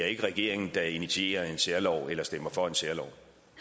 ikke regeringen der initierer en særlov eller stemmer for en særlov